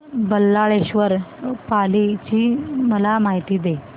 बल्लाळेश्वर पाली ची मला माहिती दे